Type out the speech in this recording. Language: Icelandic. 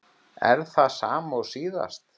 Er það sama og síðast?